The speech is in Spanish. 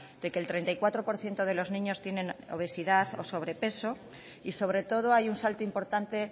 de que el treinta y cuatro por ciento de los niños tienen obesidad o sobrepeso y sobre todo hay un salto importante